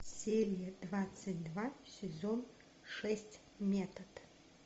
серия двадцать два сезон шесть метод